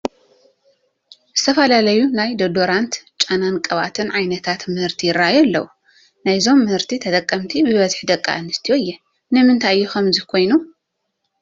ዝተፈላለዩ ናይ ዶደራንት፣ ጨናን ቅብኣትን ዓይነታት ምህርቲ ይርአዩ ኣለዉ፡፡ ናይዞም ምህርቲ ተጠቀምቲ ብብዝሒ ደቂ ኣንስትዮ እየን፡፡ ንምንታይ እዩ ከምዚ ኮይኑ?